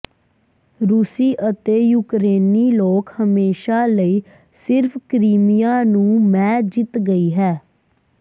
ਰੂਸੀ ਅਤੇ ਯੂਕਰੇਨੀ ਲੋਕ ਹਮੇਸ਼ਾ ਲਈ ਸਿਰਫ ਕ੍ਰੀਮੀਆ ਨੂੰ ਮੈ ਜਿੱਤ ਗਈ ਹੈ